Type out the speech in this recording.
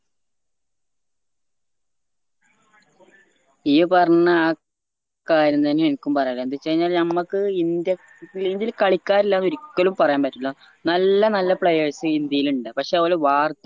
ഈ പർണ്ണാ ആ കാര്യം തന്യ എനിക്കും പറയാനില്ലത് എന്തെച്ചഴിഞ്ഞാല് നമ്മക്ക് ഇന്ത്യ ഇന്ത്യല് കളിക്കാരില്ലെന്ന് ഒരിക്കലും പറയാൻ പറ്റില്ല നല്ല നല്ല players ഇന്ത്യയിൽ ഇണ്ട് പക്ഷേ ഓല വാർ